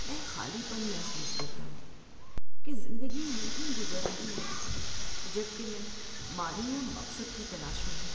میں خالی پن محسوس کرتا ہوں کہ زندگی یونہی گزر رہی ہے جب کہ میں معنی یا مقصد کی تلاش میں ہوں۔